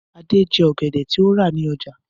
Adé jẹ ọ̀gẹ̀dẹ̀ tí ó rà ní ọjà.